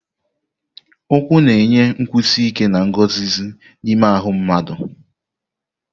Ụkwụ na-enye nkwụsi ike na nguzozi n'ime ahụ mmadụ.